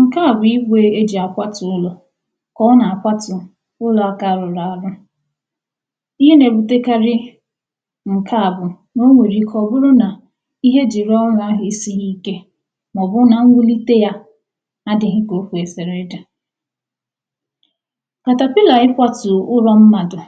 Nke à bụ̀ igwè e ji akwatụ̀ ụlọ̀ ka ọ na-akwatù ụlọ̀ nke arụrụ arụ̀, ihe na-ebute karii nke à bụ̀ na o nwere ike ọ bụrụ̀ nà ihe e ji rụọ̀ ụlọ̀ ahụ esighì ike maọ̀bụ̀ na nnwulite yà adịghị̀ ka o kwesiri ị dị̀. na-akwatù ụlọ̀ mmadụ̀